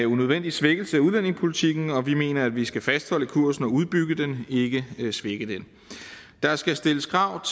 unødvendig svækkelse af udlændingepolitikken vi mener at vi skal fastholde kursen og udbygge den ikke svække den der skal stilles krav